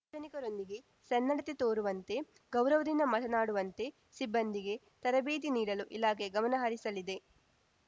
ಸಾರ್ವಜನಿಕರೊಂದಿಗೆ ಸನ್ನಡತೆ ತೋರುವಂತೆ ಗೌರವದಿಂದ ಮಾತನಾಡುವಂತೆ ಸಿಬ್ಬಂದಿಗೆ ತರಬೇತಿ ನೀಡಲು ಇಲಾಖೆ ಗಮನ ಹರಿಸಲಿದೆ